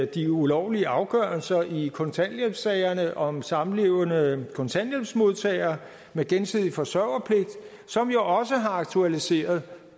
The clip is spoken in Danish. de ulovlige afgørelser i kontanthjælpssagerne om samlevende kontanthjælpsmodtagere med gensidig forsørgerpligt som jo også har aktualiseret